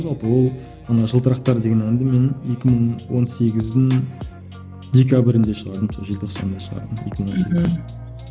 жалпы ол ана жылтырақтар деген әнді мен екі мың он сегіздің декабрінде шығардым сол желтоқсанда шығардым екі мың он сегіздің мхм